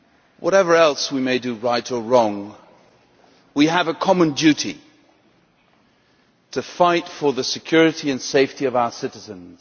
Whatever else we may do right or wrong, we have a common duty to fight for the security and safety of our citizens.